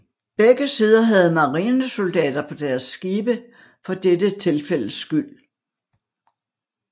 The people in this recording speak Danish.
Begge sider havde marinesoldater på deres skibe for dette tilfældes skyld